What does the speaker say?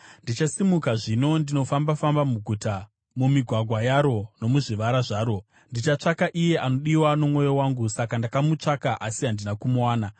Ndichasimuka zvino ndinofamba-famba muguta, mumigwagwa yaro nomuzvivara zvaro; ndichatsvaka iye anodiwa nomwoyo wangu. Saka ndakamutsvaka asi handina kumuwana.